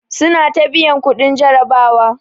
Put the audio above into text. Suna ta biyan kuɗin jarabawa.